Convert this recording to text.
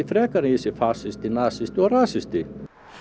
frekar en að ég sé fasisti nasisti og rasisti